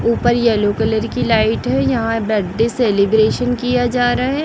ऊपर yellow colour की light है यहां बडे सेलिब्रेशन किया जा रहा है।